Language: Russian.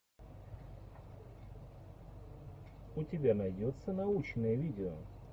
у тебя найдется научное видео